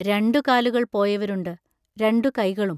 രണ്ടു കാലുകൾ പോയവരുണ്ട്; രണ്ടു കൈകളും.